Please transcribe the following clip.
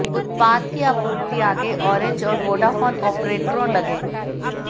उत्पाद की आपूर्ति आगे ऑरेंज और वोडाफोन ऑपरेटरों लगे